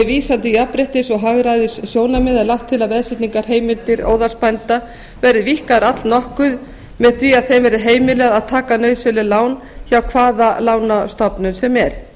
vísan til jafnréttis og hagræðissjónarmiða er lagt til að veðsetningarheimildir óðalsbænda verði víkkaðar allnokkuð með því að þeim verði heimilað að taka nauðsynleg lán hjá hvaða lánastofnun sem er